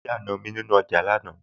mo rí àna mi nih ọjà ní àná